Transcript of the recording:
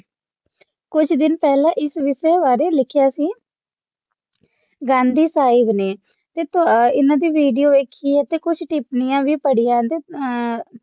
ਕੁਝ ਦਿਨ ਪਹਿਲਾ ਇਸ ਵਿਸ਼ੇ ਬਾਰੇ ਲਿਖਿਆ ਸੀ ਗਾਂਧੀ ਸਾਹਿਬ ਨੇ ਤੇ ਤੋਹਾ ਇਹਨਾਂ ਦੀ Vedio ਵੇਖੀ ਆ ਤੇ ਕੁਝ ਟਿਪਣੀਆਂ ਵੀ ਪੜ੍ਹੀ ਆ ਇੰਦੇ ਚ ਆ